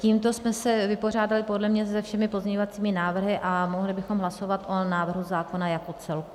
Tímto jsme se vypořádali podle mě se všemi pozměňovacími návrhy a mohli bychom hlasovat o návrhu zákona jako celku.